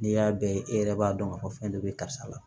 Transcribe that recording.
N'i y'a bɛɛ ye e yɛrɛ b'a dɔn ka fɔ fɛn dɔ be karisa la